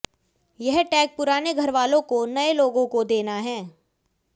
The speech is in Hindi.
यह टैग पुराने घरवालों को नए लोगों को देना है